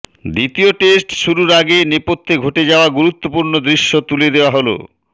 দ্বিতীয় টেস্ট শুরুর আগে নেপথ্যে ঘটে যাওয়া গুরুত্বপূর্ণ দৃশ্য তুলে দেওয়া হল